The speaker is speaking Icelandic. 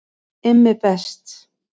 IMMI BEST